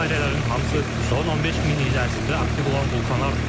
Bu dairələrin hamısı son 15 min il ərzində aktiv olan vulkanlardır.